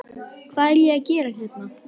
Hvað er ég að gera hérna?